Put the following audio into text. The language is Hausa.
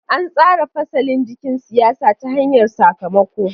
An tsara fasalin jikin siyasa ta hanyar sakamako.